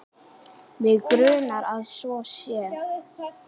Mig grunar að svo sé.